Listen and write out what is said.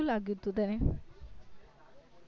કેવું લાગ્યું હતું તને